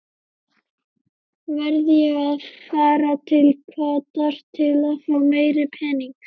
Verð ég að fara til Katar til fá meiri pening?